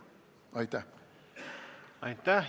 Aitäh!